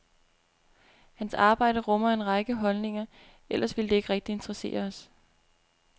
Hans arbejde rummer en række holdninger, ellers ville det ikke rigtig interessere os.